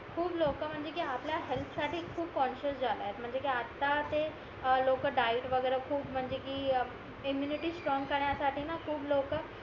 खूप लोक म्हणजे कि आपल्या हेल्प साठी खूप कॉन्शियस झालाय म्हणजे कि आता ते लोक डाएट वगैरे खूप म्हणजे कि इम्म्युनिटी स्ट्रॉंग करण्या साठी खूप लोक